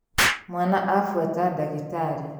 Mwana abuata ndagĩtarĩ